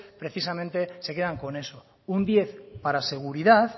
precisamente se quedan con eso un diez para seguridad